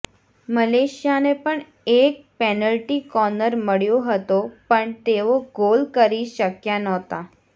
મલેશિયાને પણ એક penalty corner મળ્યો હતો પણ તેઓ ગોલ કરી શક્યા નહોતા